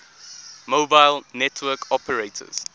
mobile network operators